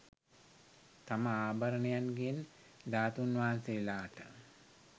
තම ආභරණයන්ගෙන් ධාතූන් වහන්සේලාට